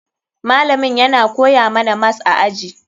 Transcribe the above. Malamin yana koya mana mas a aji.